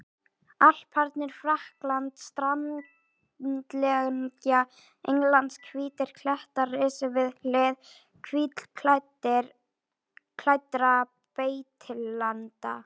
Alparnir, Frakkland, strandlengja Englands, hvítir klettar risu við hlið hvítklæddra beitilanda.